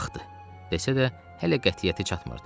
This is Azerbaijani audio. Vaxtdır, desə də, hələ qətiyyəti çatmırdı.